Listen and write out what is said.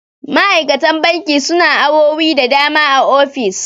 ma'aikatan banki suna awowi da dama a ofis